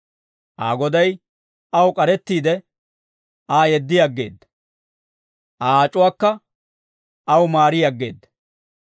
Aa goday aw k'arettiide, Aa yeddi aggeedda; Aa ac'uwaakka aw maari aggeedda.